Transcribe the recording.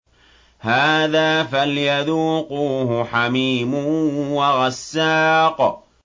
هَٰذَا فَلْيَذُوقُوهُ حَمِيمٌ وَغَسَّاقٌ